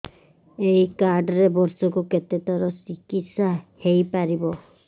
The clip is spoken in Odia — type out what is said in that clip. ଏଇ କାର୍ଡ ରେ ବର୍ଷକୁ କେତେ ଥର ଚିକିତ୍ସା ହେଇପାରିବ